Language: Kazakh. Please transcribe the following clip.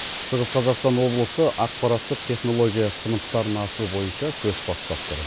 шығыс қазақстан облысы ақпараттық технология сыныптарын ашу бойынша көш бастап тұр